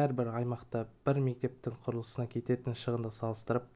әрбір аймақта бір мектептің құрылысына кететін шығынды салыстырып